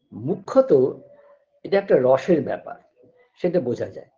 মুখ্যত এটা একটা রসের ব্যাপার সেটা বোঝা যায়